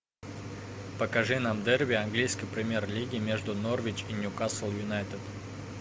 покажи нам дерби английской премьер лиги между норвич и ньюкасл юнайтед